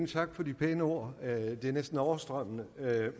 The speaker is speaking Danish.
tak for de pæne ord de er næsten overstrømmende